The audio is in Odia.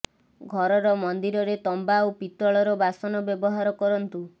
ଘରର ମନ୍ଦିରରେ ତମ୍ବା ଓ ପିତଳର ବାସନ ବ୍ୟବହାର କରନ୍ତୁ